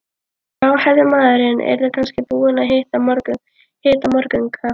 Gráhærði maðurinn yrði kannski búinn að hita morgunkaffið í